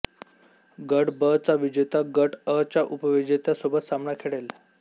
गट ब चा विजेता गट अ च्या उपविजेत्या सोबत सामना खेळेल